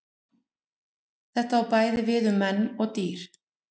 Þetta á bæði við um menn og dýr.